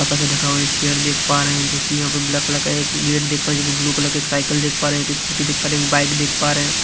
ऊपर से ढका हुआ एक चेयर देख पा रहे हैं जो कि यहां पर ब्लैक कलर का एक गेट देख पा रहे हैं जो कि ब्लू कलर का एक साइकिल देख पा रहे हैं एक स्कूटी देख पा रहे हैं एक बाइक देख पा रहे हैं।